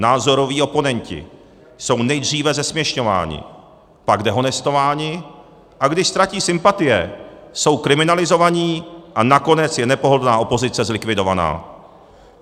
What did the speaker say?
Názoroví oponenti jsou nejdříve zesměšňováni, pak dehonestováni, a když ztratí sympatie, jsou kriminalizovaní a nakonec je nepohodlná opozice zlikvidována.